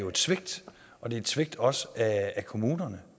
et svigt og det er et svigt også af kommunerne